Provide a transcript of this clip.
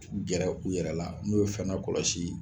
Gɛrɛ u yɛrɛ la n y'o fɛnɛ kɔlɔsi